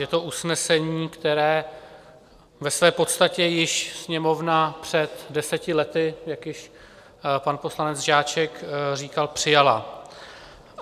Je to usnesení, které ve své podstatě již Sněmovna před deseti lety, jak již pan poslanec Žáček říkal, přijala.